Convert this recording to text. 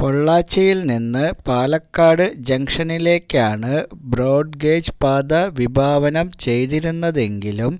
പൊള്ളാച്ചിയില്നിന്ന് പാലക്കാട് ജങ്ഷനിലേക്കാണ് ബ്രോഡ്ഗേജ്പാത വിഭാവനം ചെയ്തിരുന്നതെങ്കിലും